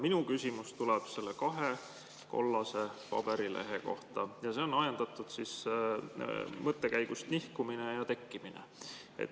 Minu küsimus tuleb nende kahe kollase paberilehe kohta ja on ajendatud mõttekäigust "nihkumine ja tekkimine".